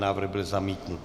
Návrh byl zamítnut.